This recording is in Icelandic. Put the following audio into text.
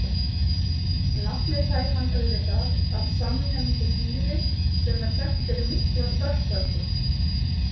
Nafnið fær hann auðvitað af samnefndu dýri sem þekkt er fyrir mikla spretthörku.